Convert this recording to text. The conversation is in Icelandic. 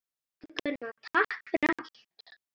Elsku Gunnar, takk fyrir allt.